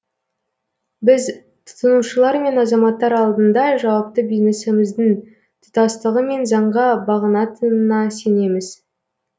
біз тұтынушылар мен азаматтар алдында жауапты бизнесіміздің тұтастығы мен заңға бағынатынына сенеміз